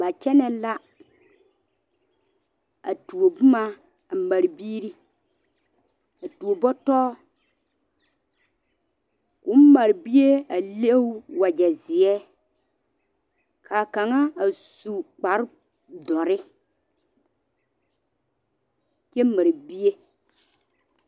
Ba kyɛne la a tuo boma a mare biiri a tuo butɔ ko mare bie a leŋ wagye ziɛ kaa kaŋa a su dɔre kyɛ mare bie.